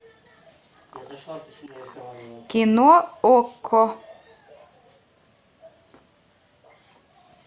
кино окко